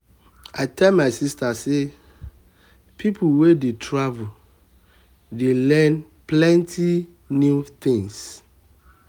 i tell my sista sey sey pipo wey dey travel dey learn plenty new tins.